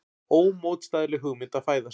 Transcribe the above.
Ómótstæðileg hugmynd að fæðast.